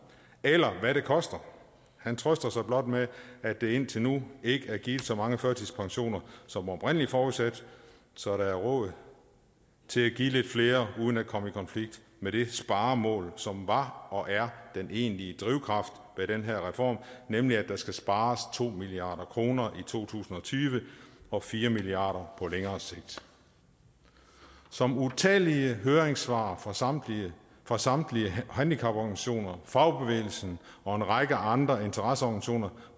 eller hvad det koster han trøster sig blot med at der indtil nu ikke er givet så mange førtidspensioner som oprindelig forudsat så der er råd til at give lidt flere uden at komme i konflikt med det sparemål som var og er den egentlige drivkraft bag den her reform nemlig at der skal spares to milliard kroner i to tusind og tyve og fire milliard kroner på længere sigt som utallige høringssvar fra samtlige fra samtlige handicaporganisationer fagbevægelsen og en række andre interesseorganisationer